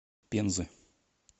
пензы